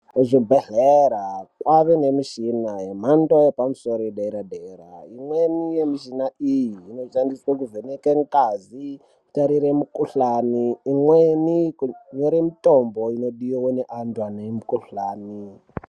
Pachibhedhleya kwava nemushini mhando yepamusoro yedera dera imweni yemuchuna uyu unonasa kuvheneke ngazi kutarira mukuhlani umweni kunyore mutombo unodiwa naantu mukuhlani .